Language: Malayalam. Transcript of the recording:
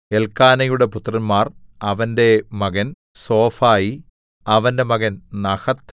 എല്ക്കാനയുടെ പുത്രന്മാർ അവന്റെ മകൻ സോഫായി അവന്റെ മകൻ നഹത്ത്